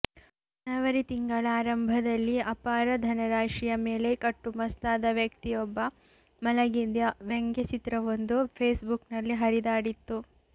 ಜನವರಿ ತಿಂಗಳ ಆರಂಭದಲ್ಲಿ ಅಪಾರ ಧನರಾಶಿಯ ಮೇಲೆ ಕಟ್ಟುಮಸ್ತಾದ ವ್ಯಕ್ತಿಯೊಬ್ಬ ಮಲಗಿದ್ದ ವ್ಯಂಗ್ಯಚಿತ್ರವೊಂದು ಫೇಸ್ಬುಕ್ನಲ್ಲಿ ಹರಿದಾಡಿತ್ತು